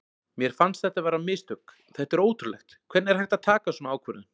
Mér fannst þetta vera mistök, þetta er ótrúlegt, hvernig er hægt að taka svona ákvörðun?